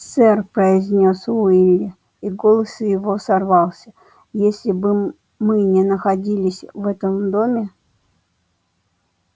сэр произнёс уилли и голос его сорвался если бы мы не находились в этом доме